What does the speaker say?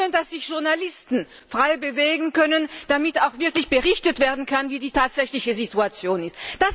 Wir wollen, dass sich Journalisten frei bewegen können, damit auch wirklich berichtet werden kann, wie die tatsächliche Situation ist.